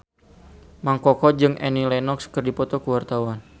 Mang Koko jeung Annie Lenox keur dipoto ku wartawan